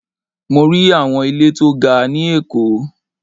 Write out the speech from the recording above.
Mo rí àwọn ilé tó ga ni èkó